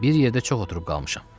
Bir yerdə çox oturub qalmışam.